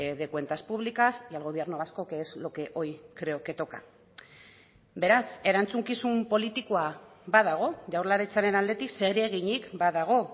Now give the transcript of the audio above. de cuentas publicas y al gobierno vasco que es lo que hoy creo que toca beraz erantzukizun politikoa badago jaurlaritzaren aldetik zereginik badago